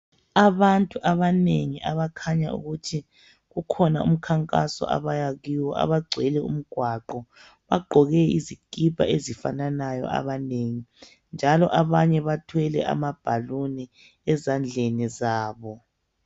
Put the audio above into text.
Abantu abanengi abakhanya ukuthi ukhona umkhankaso abaya kuwo, abagcwele umgwaqo, bagqoke izikipa ezifananayo abanengi njalo abanye bathwele amabhaluni ezandleni zabo.